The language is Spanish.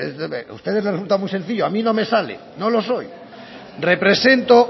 a ustedes les resulta muy sencillo a mí no me sale no lo soy represento